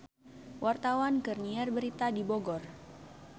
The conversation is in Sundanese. Wartawan keur nyiar berita di Bogor